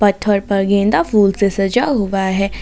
पत्थर पर गेंदा फूल से सजा हुआ है।